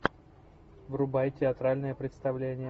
врубай театральное представление